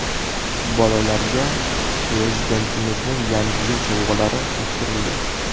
Bolalarga Prezidentimizning Yangi yil sovg‘alari topshirildi.